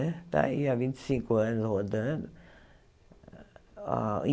Está aí há vinte e cinco anos rodando.